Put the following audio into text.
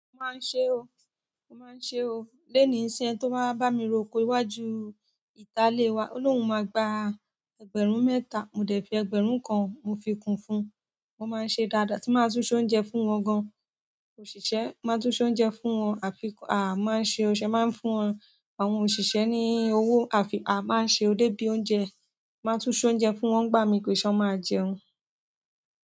Mo máa ń ṣe o, mo máa ń ṣe o. Léni nṣín ẹni tó máa wa bá mi roko iwájú ìta ilé wa, Olóhun máa gba ẹgbẹ̀rún mẹ́ta, mo dẹ̀ fi ẹgbẹ̀rún kan mo fi kun fún un. Mo máa ń ṣe dáadáa, tí máa tún ṣé oúnjẹ fún wọn gan. Òṣìṣẹ́ máa tún ṣé oúnjẹ fún wọn àfi à máa ń ṣe ọ̀ ṣẹ́ máa ń fún wọn. Àwọn òṣìṣẹ́ ní owó àfi a máa ń ṣe ò de bíi oúnjẹ. Máa tún ṣé oúnjẹ fún wọn, n gbà mí kòì ṣe wọ́n máa jẹun.